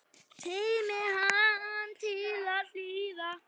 Teymir hana til hliðar.